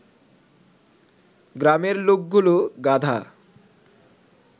গ্রামের লোকগুলো গাধা